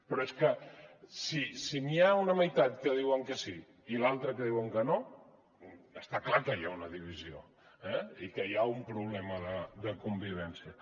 però és que si hi ha una meitat que diuen que sí i l’altra que diu que no està clar que hi ha una divisió eh i que hi ha una problema de convivència